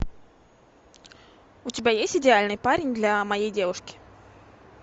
у тебя есть идеальный парень для моей девушки